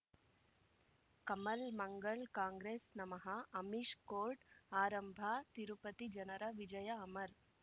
ಕಮಲ್ ಮಂಗಳ್ ಕಾಂಗ್ರೆಸ್ ನಮಃ ಅಮಿಷ್ ಕೋರ್ಟ್ ಆರಂಭ ತಿರುಪತಿ ಜನರ ವಿಜಯ ಅಮರ್